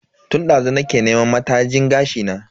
Tun dazu nake neman matajin gashi na.